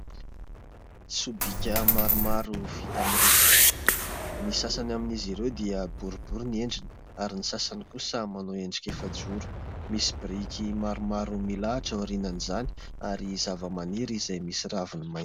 Sobika maromaro vita amin'ny rofia. Ny sasany amin'izy ireo dia boribory ny endriny ary ny sasany kosa manao endika efa-joro. Misy biriky maromaro milahatra ao aorian'izany ary zava-maniry izay misy raviny maina.